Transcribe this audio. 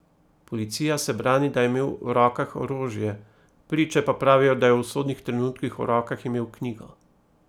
Policija se brani, da je imel v rokah orožje, priče pa pravijo, da je v usodnih trenutkih v rokah imel knjigo.